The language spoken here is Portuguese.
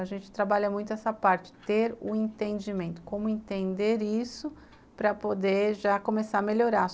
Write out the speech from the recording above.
A gente trabalha muito essa parte, ter o entendimento, como entender isso para poder já começar a melhorar.